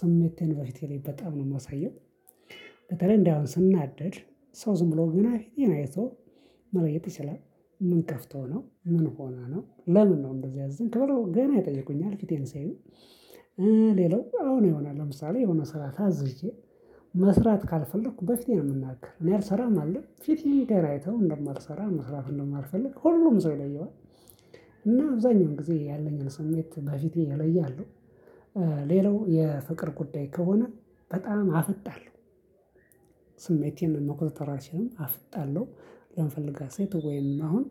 ስሜቴን በፊቴ ላይ በጣም ነው የማሳየው። በተለይ ስናደድ ሰው ዝምብ ብሎ ገና ፊቴን አይቶ መለየት ይችላል? ምን ከፍቶህ ነው ምን ሆነህ ነው ለምን ነው ያዘንከው ብለው ገና ይጠይቁኛል። ፊቴን ሲያዩ። ሌላው አሁን ይሆናል ለምሳሌ የሆነ ስራ ይዝዝ። መስራት ካልፈለኩ በፊቴ ነው የምናገረው እኔ አልሰራም አልል ፊቴ ገና አይተው እንደማልሰራ መስራት እንደማልፈልግ ሁሉም ሰው ይለየዋል። እና አብዛኛውን ጊዜ ያለኝን ስሜት በፊቴ እለያለሁ። ሌላው የፍቅር ጉዳይ ከሆነ በጣም አፍጣለሁ። ስሜቴን መኮጣተር አልችልም አፍጣለሁ። ለምፈልጋት ሴት ወይም አሁን